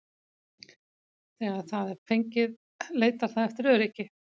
Þegar það er fengið leitar það eftir öryggi.